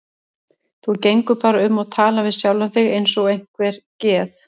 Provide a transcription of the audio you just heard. Þú gengur bara um og talar við sjálfa þig eins og einhver geð